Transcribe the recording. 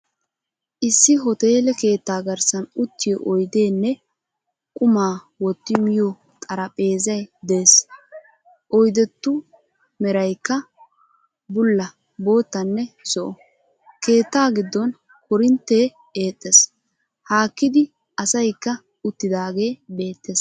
Issi hoteele keettaa garssan uttiyo oydeenne qummaa wotti miyoo xaraphpheezay dees. oydetu meraykka bulla, boottanne zo"o. keetta giddon korinttee eexxees. haakkidi asaykka uttidagee beettees.